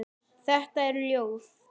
Þetta er ljóð.